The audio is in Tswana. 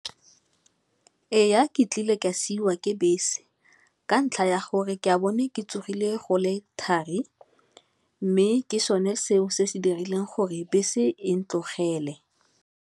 Ee, ke tlile ka siwa ke bese ka ntlha ya gore ke a bo ne ke tsogile go le thari, mme ke sone seo se se dirileng gore bese e ne tlogele.